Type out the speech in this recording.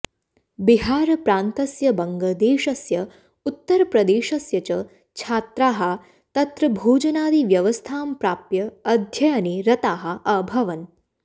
बिहारप्रान्तस्य वंगदेशस्य उत्तरप्रदेशस्य च छात्राः तत्र भोजनादिव्यवस्थां प्राप्य अध्ययने रताः अभवन्